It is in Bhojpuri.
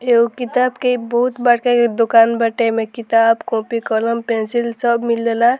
एगो किताब के इ बहुत बड़का दुकान बाटे एमे किताब कॉपी कलम पेंसिल सब मिलेला।